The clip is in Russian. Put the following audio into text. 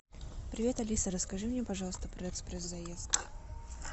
привет алиса расскажи мне пожалуйста про экспресс заезд